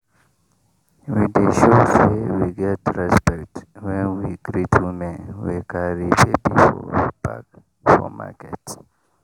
we dey show say we get respect when we greet women wey carry baby for back for market.